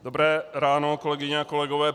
Dobré ráno, kolegyně a kolegové.